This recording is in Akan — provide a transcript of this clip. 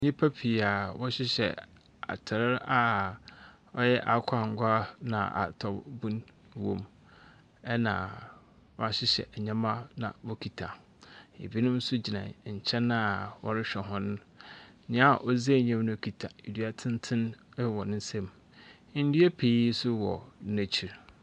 Nipa pii a wɔ hyehyɛ atar a ɔyɛ akokɔ angua ena ahataw bun wom ena w'ahyehyɛ nneɛma na wo kita. Ɛbi nom gyina nkyɛn wɔre hwɛ wɔn. Nia odzi anyim no kita adua tenten ɛwɔ nsam. Ndua pii so wɔ n'aKyi.